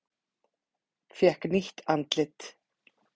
Fékk nýtt andlit